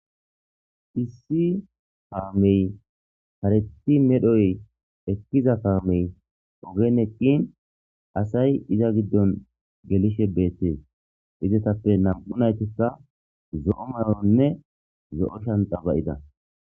Issi kaamey kareththi medhoy diza kaamey oogen eeqinnii asay iza giddon geelishe beetes izetappe nam'u nayttikka zo'o mayoranne zo'o shancca baa'idda